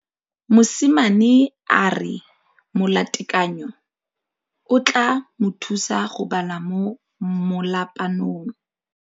Mosimane a re molatekanyô o tla mo thusa go bala mo molapalong.